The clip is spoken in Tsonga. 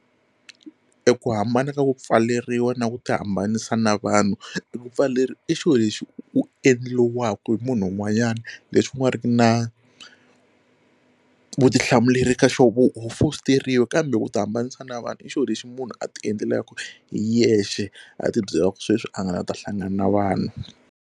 E ku hambana ka ku pfaleriwa na ku ti hambanisa na vanhu, ekupfaleriwa i xilo lexi u u endliwaka hi munhu un'wanyana lexi u nga ri ki na vutihlamuleri ka xoho ku ho fositeriwa kambe ku ti hambanisa na vanhu i xilo lexi munhu a ti endlelaku hi yexe a tibyela ku sweswi a nga la ta hlangana na vanhu.